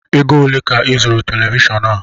Égo olé ka I zụrụ Televishọọnu a?